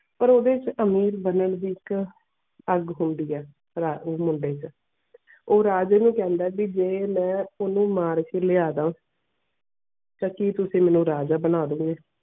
ਪਾਰ ਓਦੇ ਛ ਅਮੀਰ ਬਾਨਾਂ ਦੀ ਇਕ ਅੱਗ ਹੋਂਦੀ ਇਹ ਉਹ ਮੁੰਡੇ ਛ ਉਹ ਰਾਜੇ ਨੂੰ ਕੈਨਡਾ ਕੇ ਜੇ ਮੈਂ ਓਨੁ ਮਾਰ ਕੇ ਲਿਆਂਦਾ ਤੇ ਕਿ ਤੁਸੀਂ ਮੈਨੂੰ ਰਾਜਾ ਬਣਾ ਦੇਯੋ ਗਏ.